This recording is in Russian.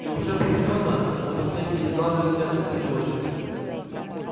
и уже определённо от последней избавлюсь я в последнюю очередь